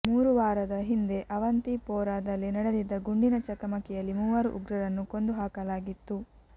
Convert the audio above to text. ಮೂರು ವಾರದ ಹಿಂದೆ ಆವಂತಿಪೋರಾದಲ್ಲಿ ನಡೆದಿದ್ದ ಗುಂಡಿನ ಚಕಮಕಿಯಲ್ಲಿ ಮೂವರು ಉಗ್ರರನ್ನು ಕೊಂದು ಹಾಕಲಾಗಿತ್ತು